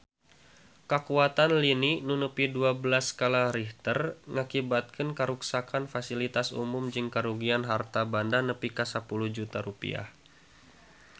Kakuatan lini nu nepi dua belas skala Richter ngakibatkeun karuksakan pasilitas umum jeung karugian harta banda nepi ka 10 juta rupiah